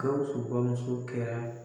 Gawusu bamuso kɛra